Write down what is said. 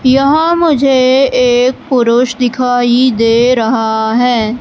यहां मुझे एक पुरुष दिखाई दे रहा है।